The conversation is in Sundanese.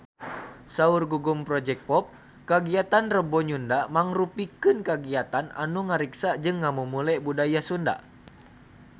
Saur Gugum Project Pop kagiatan Rebo Nyunda mangrupikeun kagiatan anu ngariksa jeung ngamumule budaya Sunda